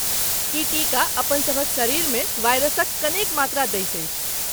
ई टीका अपनसभक शरीरमे वायरसक कनेक मात्रा दैत अछि।